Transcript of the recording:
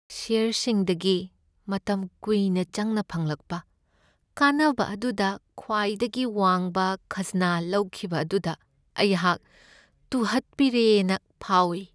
ꯁꯦꯌꯔꯁꯤꯡꯗꯒꯤ ꯃꯇꯝ ꯀꯨꯏꯅ ꯆꯪꯅ ꯐꯪꯂꯛꯄ ꯀꯥꯟꯅꯕ ꯑꯗꯨꯗ ꯈ꯭ꯋꯥꯏꯗꯒꯤ ꯋꯥꯡꯕ ꯈꯥꯖꯅꯥ ꯂꯧꯈꯤꯕ ꯑꯗꯨꯗ ꯑꯩꯍꯥꯛ ꯇꯨꯍꯠꯄꯤꯔꯦꯅ ꯐꯥꯎꯏ ꯫